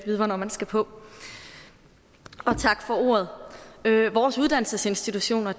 vide hvornår man skal på og tak for ordet vores uddannelsesinstitutioner